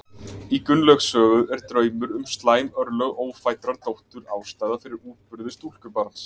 Í Gunnlaugs sögu er draumur um slæm örlög ófæddrar dóttur ástæða fyrir útburði stúlkubarns.